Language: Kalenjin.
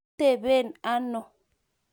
iteben ano?